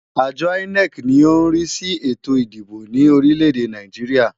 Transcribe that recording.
Àjọ INEC ni ó ń rí sí ètò ìdìbò ní orílẹ̀-èdè Nàìjíríà.